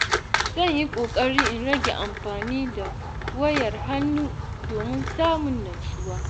Zan yi kokari in rage amfani da wayar hannu domin samun natsuwa.